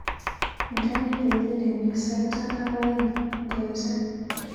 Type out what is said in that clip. Indene kengelenyu sait tan ak aeng ngoeche